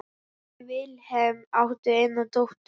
Þau Vilhelm áttu eina dóttur.